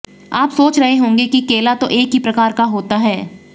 आप सोच रहे होंगे कि केला तो एक ही प्रकार का होता है